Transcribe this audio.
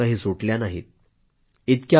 त्यांच्या समस्या काही सुटल्या नाहीत